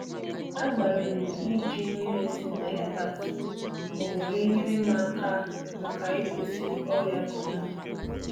Agbalịri m iji mmiri si na alibasa, onyekwaara m aka ịkwụsị ọrịa otuboala(Tomato)